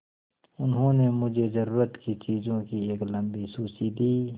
उन्होंने मुझे ज़रूरत की चीज़ों की एक लम्बी सूची दी